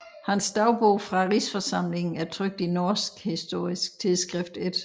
Hans dagbog fra Rigsforsamlingen er trykt i Norsk Historisk Tidsskrift 1